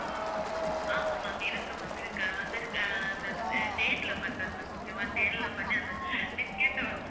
ஆமா ma'am இருக்கு ma'am இருக்கு அது வந்து அஹ் அந்த தேன்ல பண்றது ma'am okay வா தேன்ல பண்ணி அந்த biscuit அ வந்து